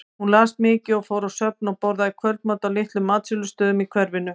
Hún las mikið og fór á söfn og borðaði kvöldmat á litlum matsölustöðum í hverfinu.